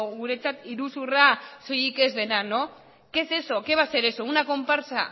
guretzat iruzurra soilik ez dena qué es eso qué va a ser eso una comparsa